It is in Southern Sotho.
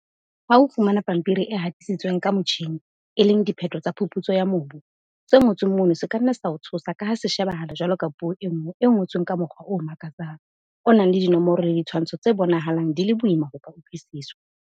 Ha o fumana pampiri e hatisitsweng ka motjhine, e leng diphetho tsa phuputso ya mobu, se ngotsweng mono se ka nna sa o tshosa ka ha se shebahala jwalo ka puo e nngwe e ngotsweng ka mokgwa o makatsang, o nang le dinomoro le ditshwantsho tse bonahalang di le boima ho ka utlwisiswa.